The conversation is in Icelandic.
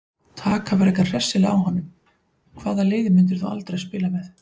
Taka frekar hressilega á honum Hvaða liði myndir þú aldrei spila með?